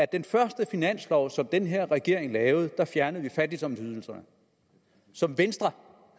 den første finanslov som den her regering lavede fjernede vi fattigdomsydelserne som venstre